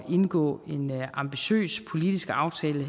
indgå en ambitiøs politisk aftale